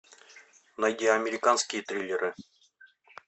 найди американские триллеры